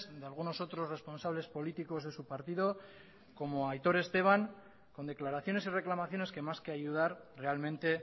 de algunos otros responsables políticos de su partido como aitor esteban con declaraciones y reclamaciones que más que ayudar realmente